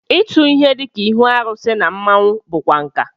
Ịtụ ihe dịka ihu arụsị na mmọnwụ bụkwa nkà